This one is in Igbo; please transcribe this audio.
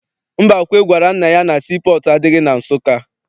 Mbakwe gwara nna ya na sii pọọtụ adịghị na Nsụka.